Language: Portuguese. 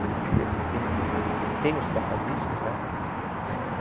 Hoje a gente tem tem os toca-discos, né? Eh